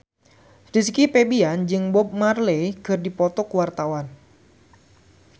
Rizky Febian jeung Bob Marley keur dipoto ku wartawan